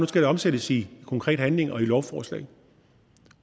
skal omsættes i konkret handling og i lovforslag